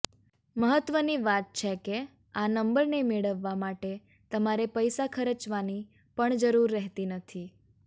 મહત્વની વાત છે કે આ નંબરને મેળવવા માટે તમારે પૈસા ખર્ચવાની પણ જરૂર રહેતી નથી